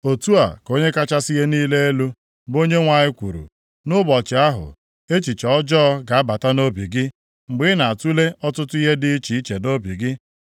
“ ‘Otu a ka Onye kachasị ihe niile elu, bụ Onyenwe anyị kwuru: Nʼụbọchị ahụ, echiche ọjọọ ga-abata nʼobi gị, mgbe ị na-atule ọtụtụ ihe dị iche iche nʼobi gị.